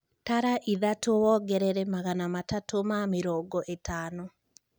Tara ĩthatũ wongerere magana matatũ na mĩrongo ĩtano